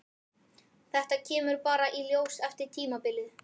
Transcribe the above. Þetta kemur bara í ljós eftir tímabilið?